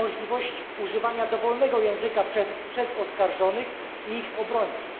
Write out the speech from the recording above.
możliwość używania dowolnego języka przez oskarżonych i ich obrońców.